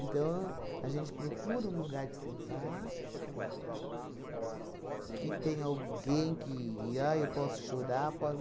a gente procura um lugar que você vá, que tenha alguém que, ai, eu posso chorar, pos